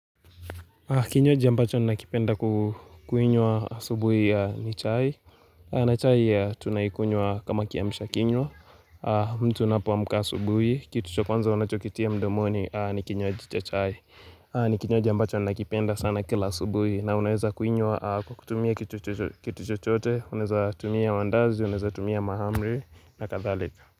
Kinywaji ambacho nakipenda kukuinywa asubuhi ni chai, na chai tuna ikunywa kama kiamsha kinywa, mtu unapoamuka subuhi, kitu cha kwanza unachokitia mdomoni ni kinywaji cha chai, ni kinywaji ambacho nakipenda sana kila subuhi na unaweza kuinywa kwa kutumia kitu kitu chochote, unaeza tumia mandazi, unaeza tumia mahamri na kathalika.